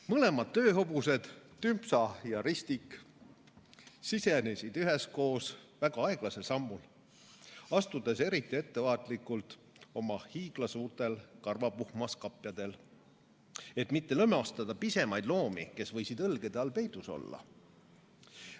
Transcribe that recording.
Mõlemad tööhobused, Tümpsa ja Ristik, sisenesid üheskoos väga aeglasel sammul, astudes eriti ettevaatlikult oma hiiglasuurtel karvapuhmas kapjadel, et mitte lömastada pisemaid loomi, kes võisid õlgede all peidus olla.